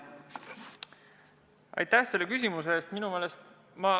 Aitäh selle küsimuse eest!